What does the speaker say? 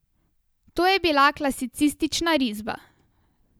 To je bila klasicistična risba.